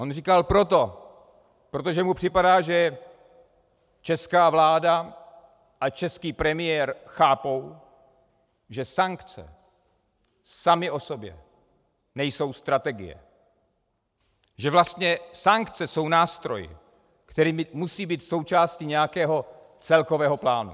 On říkal proto, protože mu připadá, že česká vláda a český premiér chápou, že sankce samy o sobě nejsou strategie, že vlastně sankce jsou nástroj, který musí být součástí nějakého celkového plánu.